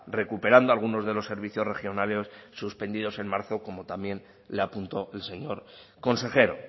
recuperando algunos de los servicios regionales suspendidos en marzo como también le apuntó el señor consejero